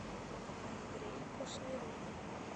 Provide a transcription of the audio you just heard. андрей кушнерук